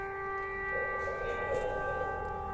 ਇੱਥੇ ਪੱਕੀਆਂ ਪਕਾਈਆਂ ਨੀ ਨਾ ਮਿਲਦੀਂਆ